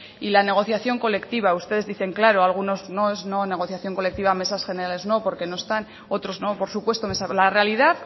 y la negociación colectiva ustedes dicen claro algunos no es no en negociación colectiva mesas generales no porque no están otros no por supuesto la realidad